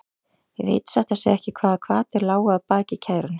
Ég veit satt að segja ekki hvaða hvatir lágu að baki kærunni.